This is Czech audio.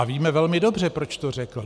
A víme velmi dobře, proč to řekl.